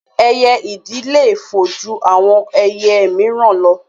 Ẹyẹ ìdì le fò ju àwọn ẹyẹ míìràn lọ